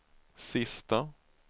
sista